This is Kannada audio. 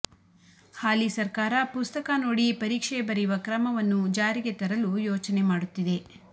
ಹಾಲಿ ಸರ್ಕಾರ ಪುಸ್ತಕ ನೋಡಿ ಪರೀಕ್ಷೆ ಬರೆಯುವ ಕ್ರಮವನ್ನು ಜಾರಿಗೆ ತರಲು ಯೋಚನೆ ಮಾಡುತ್ತಿದೆ